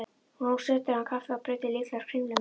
Nú sötraði hann kaffið og bruddi líklegast kringlu með.